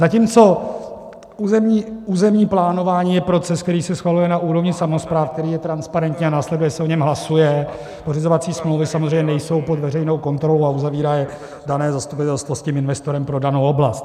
Zatímco územní plánování je proces, který se schvaluje na úrovni samospráv, který je transparentní, a následně se o něm hlasuje, pořizovací smlouvy samozřejmě nejsou pod veřejnou kontrolou a uzavírá je dané zastupitelstvo s tím investorem pro danou oblast.